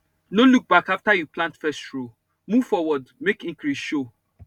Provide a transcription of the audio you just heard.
no look back after you plant first row move forward make increase show